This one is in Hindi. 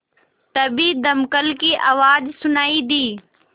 तभी दमकल की आवाज़ सुनाई दी